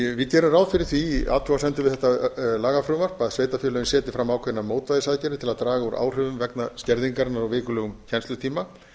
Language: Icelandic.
við gerum ráð fyrir því í athugasemdum við þetta lagafrumvarp að sveitarfélögin setji fram ákveðnar mótvægisaðgerðir til að draga úr áhrifum vegna skerðingarinnar á vikulegum kennslutíma